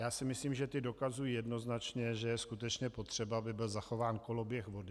Já si myslím, že ta dokazují jednoznačně, že je skutečně potřeba, aby byl zachován koloběh vody.